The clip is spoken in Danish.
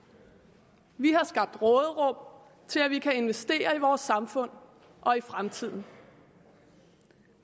vi har skabt råderum til at vi kan investere i vores samfund og i fremtiden